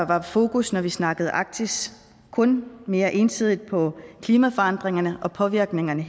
var fokus når vi snakkede arktis kun mere ensidigt på klimaforandringerne og påvirkningerne